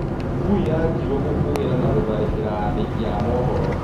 Ngui ya Njirũ gũkũgera na gũthakera andĩki a mũhoro